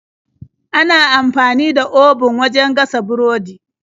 Ana amfani da obun wajen gasa burodi.